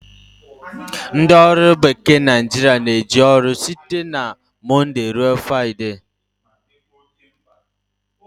Ndị ọrụ bekee Naijiria na-eje ọrụ site na monde ruo Friday